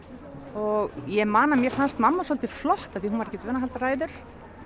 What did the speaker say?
og ég man að mér fannst mamma svolítið flott af því að hún var ekkert vön að halda ræður